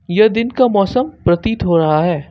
यह दिन का मौसम प्रतीत हो रहा है।